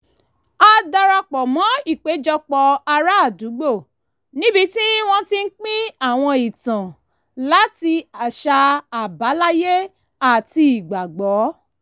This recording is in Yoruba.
a darapọ̀ mọ́ ìpéjọpọ̀ ará àdúgbò níbi tí wọ́n ti ń pín àwọn ìtàn láti àṣà àbáláyé àti ìgbàgbọ́